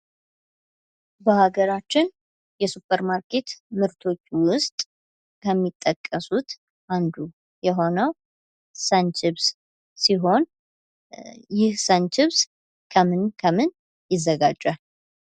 በአገራችን የሱፐር ማርኬት ምርቶች ውስጥ ከሚጠቀሱት አንዱ የሆነው ሰንቺፕስ ሲሆን ይህ ሰንቺፕስ ከምን ከምን ይዘጋጃል?